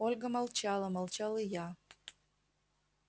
ольга молчала молчал и я